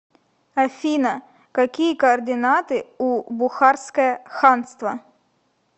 афина какие координаты у бухарское ханство